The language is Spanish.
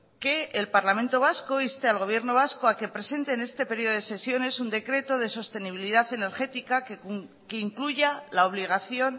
que el parlamento vasco inste al gobierno vasco a que presente en este periodo de sesiones un decreto de sostenibilidad energética que incluya la obligación